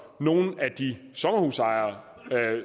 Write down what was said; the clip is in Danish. nogle af de sommerhusejere